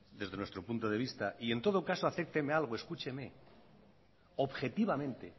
desde nuestro punto de vista y en todo caso acépteme algo escúcheme objetivamente